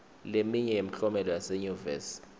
leminye yemklomelo yaseyunivesi